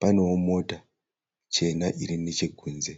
Panewo mota chena iri nechekunze.